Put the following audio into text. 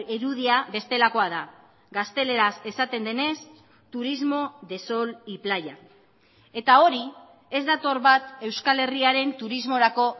irudia bestelakoa da gazteleraz esaten denez turismo de sol y playa eta hori ez dator bat euskal herriaren turismorako